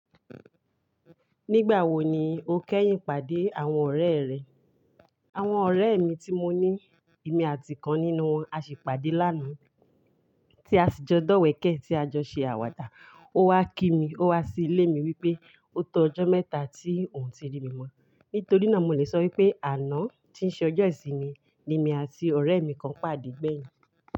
Nígbà wo ni o kẹ́yìn pàdé àwọn ọ̀rẹ́ rẹ? Àwọn ọ̀rẹ́ mi tí mo ní, èmi àti kan nínú wọn, a sì pàdé lánàá tí a sì jọ dọ̀wẹ̀kẹ̀ tí a jọ ṣe àwàdà. Ó wá kí mi, ó wá sí ilé mi wípé ó tó ọjọ́ mẹ́ta tí òun ti rí mi mọ́. Nítorí náà mo lè sọ wípé àná tí ń ṣe ọjọ́ ìsinmi ni èmi àti ọ̀rẹ́ mi kan pàdé gbẹ̀yìn.